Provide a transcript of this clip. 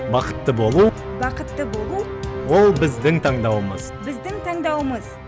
бақытты болу бақытты болу ол біздің таңдауымыз біздің таңдауымыз